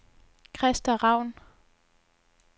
Krista Raun